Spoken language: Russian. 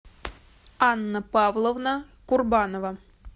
анна павловна курбанова